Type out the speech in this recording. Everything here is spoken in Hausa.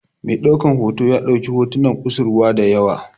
Mai ɗaukan hoto ya ɗauko hotunan kusurwa da yawa.